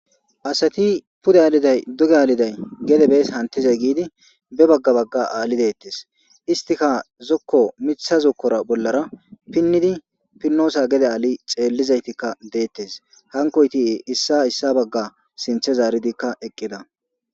asati pude aaliday duge aaliday gede bees hantizay giidi be bagga bagga aali deettes istika zokko mitha zokkora bollara pinnidi pinnoosa gede aali xeellizaytikka deettes hankoyti7e issa issa bagga sinthe zaaridikka eqqida